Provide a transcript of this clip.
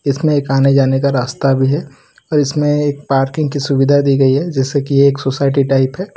इसमें एक आने जाने का रास्ता भी है और इसमें एक पार्किंग कि सुविधा दियी गई है जैसे कि एक सोसायटी टाइप हैं।